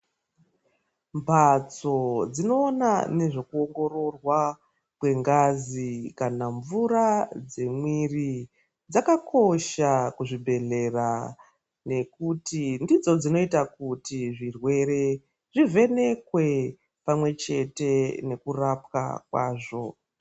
Mbatso dzinoona nezvekuongororwa kwengazi kana mvura dzemwiri dzakakosha kuzvibhehlera nekuti ndidzo dzinoita kuti zvirwere zvivhenekwe pamwechete nekurapwa kwazvo.